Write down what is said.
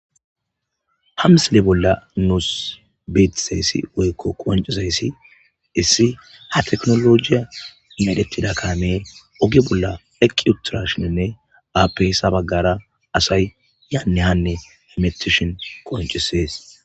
Hamsile bolla nuus beetizayssi woykko qoncuzayssi issi ha teknologiya adettida kaameer oge bolla eqiutirashininne aapeyssa baggara asay yaanne hanne emetishin qoncisees.